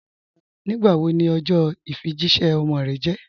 Nígbàwó ní ọjọ ifíjìṣẹ̀ ọmọ rẹ̀ jẹ̀?